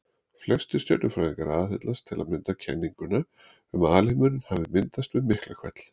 Flestir stjörnufræðingar aðhyllast til að mynda kenninguna um að alheimurinn hafi myndast við Miklahvell.